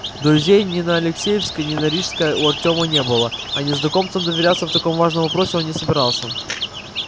друзей ни на алексеевской ни на рижской у артема не было а незнакомцам доверяться в таком важном вопросе он не собирался